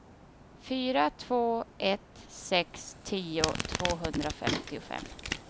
fyra två ett sex tio tvåhundrafemtiofem